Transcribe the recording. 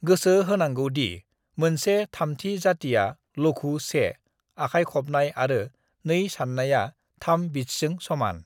गोसो होनांगौ दि मोनसे थामथि जातिया लघु 1 आखाइ खबनाय आरो 2 सान्नायआ 3 बीट्सजों समान।